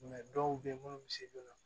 dɔw bɛ yen minnu misi donna